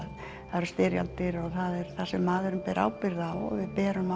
það eru styrjaldir og það sem maðurinn ber ábyrgð á við berum